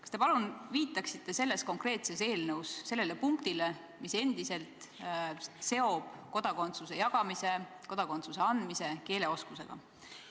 Kas te palun viitaksite selles konkreetses eelnõus punktile, mis seob kodakondsuse jagamise, kodakondsuse andmise keeleoskusega?